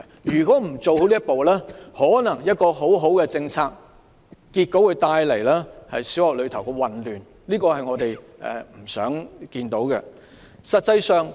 如果不做好這一步，一項好政策結果可能會為小學帶來混亂，這是我們不想看見的。